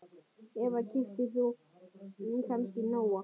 Eva: Keyptir þú kannski Nóa?